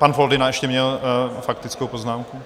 Pan Foldyna ještě měl faktickou poznámku.